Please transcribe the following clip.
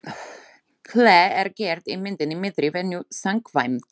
Hlé er gert í myndinni miðri venju samkvæmt.